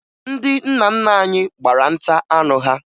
Ndị nna nna anyị gbara nta anụ ha